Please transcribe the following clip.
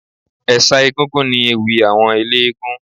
Ẹ̀ṣà egúngún ni ewì àwọn eléégún